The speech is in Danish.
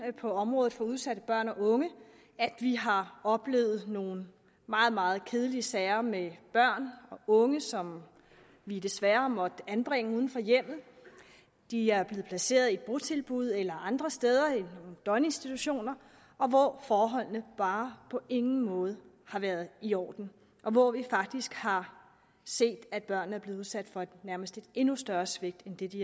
på området for udsatte børn og unge vi har oplevet nogle meget meget kedelige sager med børn og unge som vi desværre har måttet anbringe uden for hjemmet de er blevet placeret i botilbud eller andre steder i døgninstitutioner hvor forholdene bare på ingen måde har været i orden og hvor vi faktisk har set at børnene er blevet udsat for nærmest et endnu større svigt end det de